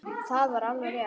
Það var alveg rétt.